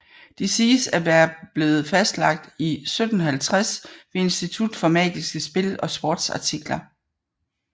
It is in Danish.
De siges at være blevet fastsat i 1750 ved Institut for Magiske Spil og Sportsartikler